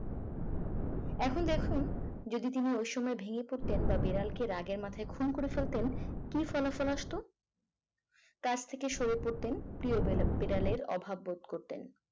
এখন দেখুন যদি তিনি ওই সময় ভেঙে পড়তেন বা বিড়ালকে রাগের মাথায় খুন করে ফেলতেন কি ফলাফল আসতো কাছ থেকে সরে পড়তেন দিয়ে বিড়ালের অভাব বোধ করতেন